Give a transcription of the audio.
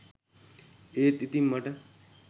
ඒත් ඉතින් මට